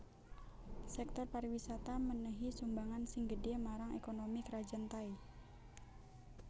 Sèktor pariwisata mènèhi sumbangan sing gedhé marang ékonomi Krajan Thai